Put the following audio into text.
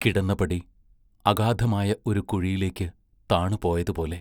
കിടന്നപടി അഗാധമായ ഒരു കുഴിയിലേക്ക് താണു പോയതുപോലെ.